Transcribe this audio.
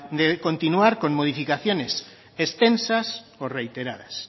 de continuar con modificaciones extensas o reiteradas